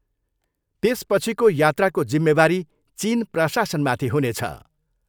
त्यसपछिको यात्राको जिम्मेवारी चिन प्रशासनमाथि हुनेछ।